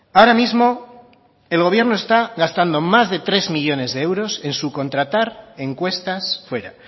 ahora mismo el gobierno está gastando más de tres millónes de euros en subcontratar encuestas fuera